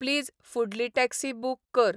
please फुडली taxi book कर